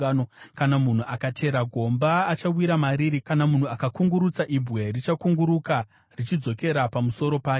Kana munhu akachera gomba, achawira mariri; kana munhu akakungurutsa ibwe, richakunguruka, richidzokera pamusoro pake.